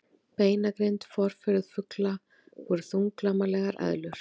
Beinagrind Forfeður fugla voru þunglamalegar eðlur.